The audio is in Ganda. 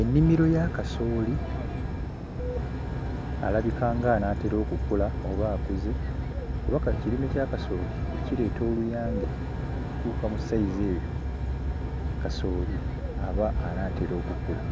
Ennimiro ya kasooli alabika ng'anaatera okukula oba akuze, kuba ka ekirime kya kasooli bwe kireeta oluyange okutuuka mu sayizi eyo kasooli aba anaatera okukula.